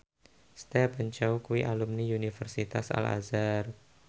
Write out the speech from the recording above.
Stephen Chow kuwi alumni Universitas Al Azhar